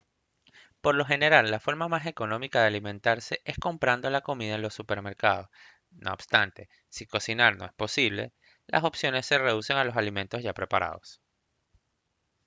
por lo general la forma más económica de alimentarse es comprando la comida en los supermercados no obstante si cocinar no es posible las opciones se reducen a los alimentos ya preparados